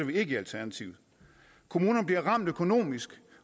vi ikke i alternativet kommunerne bliver ramt økonomisk